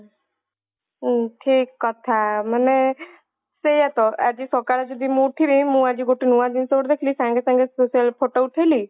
ହୁଁ ଠିକ କଥା ମାନେ ସେଇଆତ ଆଜି ସକାଳେ ଯଦି ମୁଁ ଉଠିବି ମୁଁ ଆଜି ନୂଆ ଜିନିଷ ଗୋଟେ ଦେଖିଲି ସାଙ୍ଗେ ସାଙ୍ଗେ social ରେ photo ଉଠେଇଲି